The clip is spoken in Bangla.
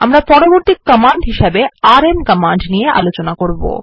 আমরা পরবর্তী কমান্ড আরএম কমান্ড দেখব